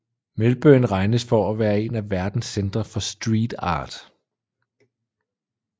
Melbourne regnes for at være en af verdens centre for street art